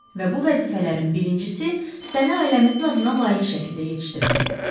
Və bu vəzifələrin birincisi səni ailəmizin adına layiq şəkildə yetişdirməkdir.